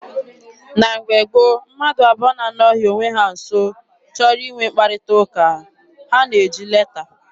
Na mgbe gboo, mmadụ abụọ na-anọghị onwe ha nso chọrọ inwe mkparịta ụka, ha na-eji leta.